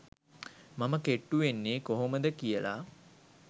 මම කෙට්ටු වෙන්නේ කොහොමද කියලා